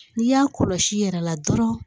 N'i y'a kɔlɔsi i yɛrɛ la dɔrɔn